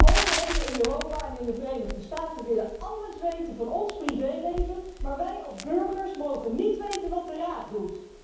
De overheden in Europa en in de Verenigde Staten willen alles weten van ons privéleven, maar wij als burgers mogen niet weten wat de Raad doet.